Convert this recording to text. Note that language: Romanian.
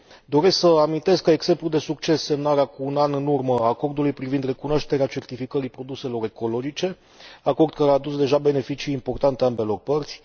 Doresc să amintesc ca exemplu de succes semnarea cu un an în urmă a acordului privind recunoașterea certificării produselor ecologice, acord care a adus deja beneficii importante ambelor părți.